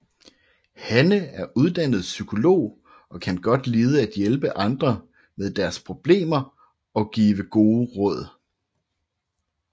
Hanne er uddannet psykolog og kan godt lide at hjælpe andre med deres problemer og give gode råd